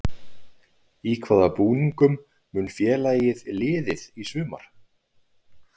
Í hvaða búningum mun félagið liðið í sumar?